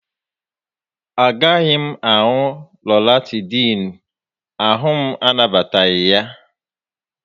A gaghị m aṅụ Lọratịdịịnụ, ahụ m anabataghị ya